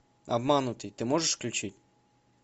обманутый ты можешь включить